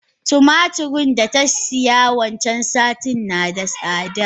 Tumaturin data siya wancan satin nada tsada.